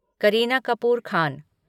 Kareena Kapoor Khan